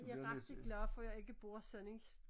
Jeg rigtig glad for jeg ikke bor sådan en